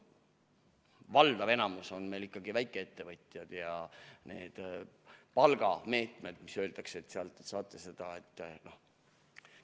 Valdav enamik on meil ikkagi väikeettevõtjad ja need palgameetmed, mis öeldakse, et sealt saate seda toetust ...